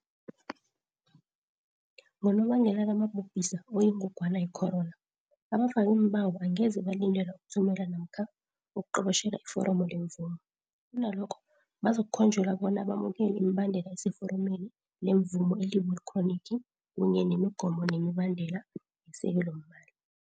Ngonobangela kamabhubhisa oyingogwana yecorona, abafakiimbawo angeze balindelwa ukuthumela namkha ukuqobotjhela iforomo lemvumo, kunalokho bazokukhonjelwa bona bamukele imibandela eseforomeni lemvumo elibule khronikhi kunye nemigomo nemibandela yesekelomali.